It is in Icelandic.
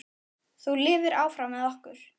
Þú lifir áfram með okkur.